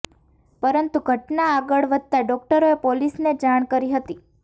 પરંતુ ઘટના આગળ વધતા ડોક્ટરોએ પોલીસને જાણ કરી હતી